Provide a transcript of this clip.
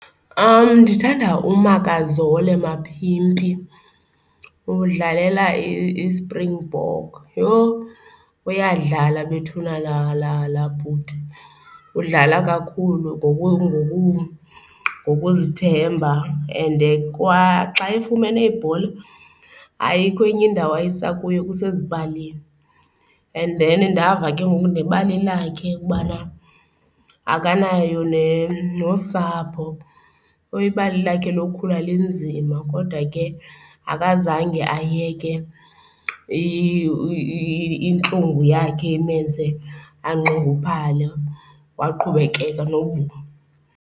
Ndithanda uMakazole Mapimpi udlalela iSpringbok. Yho, uyadlala bethuna la la la bhuti! Udlala kakhulu ngoku ngoku ngokuzithemba and xa efumene ibhola, ayikho enye indawo ayisakuyo, kusezipalini. And then ndava ke ngoku nebali lakhe ukubana akanayo nosapho. Ibali lakhe lokukhula linzima kodwa ke akazange ayeke intlungu yakhe imenze anxunguphale waqhubekeka .